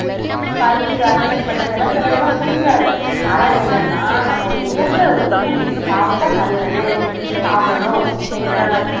பருப்பு அந்த மாதிரி பட்டதெல்லாம் சிலதெல்லாம் பிடிக்காது ஆனா என்னதுன்னா நம்ம என்னத்தை ஊட்~ இது சாப்பிட்டா நல்லது இது சாப்பிடணும்